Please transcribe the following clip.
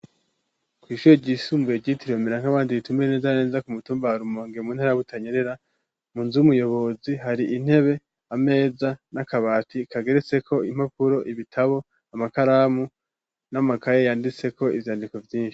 Kw'ishure ryisumbuye ryitiriwe mera nk'abandi ritumbereye neza na neza ku mutumba wa Rumonge mu ntara ya Butanyerera, mu nzu y'umuyobozi hari intebe, ameza, n'akabati kageretseko impapuro, ibitabo, amakaramu, n'amakaye yanditseko ivyandiko vyinshi.